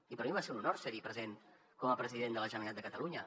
i per a mi va ser un honor ser hi present com a president de la generalitat de catalunya